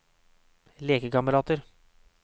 lekekamerater